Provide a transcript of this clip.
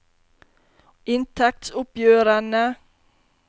inntektsoppgjørene